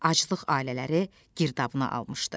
Aclıq ailələri girdabına almışdı.